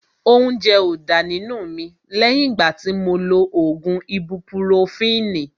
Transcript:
Óúnjẹ ó dá nínú mi lẹ́yìn ìgbà tí mo lo ògùn ibupurofini